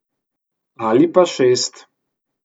Ali pa šest.